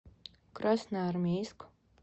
красноармейск